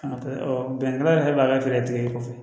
bɛnkan yɛrɛ b'a feere kɔfɛ